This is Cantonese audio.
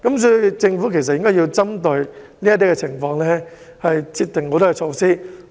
所以，政府應該針對這些情況制訂及實行措施。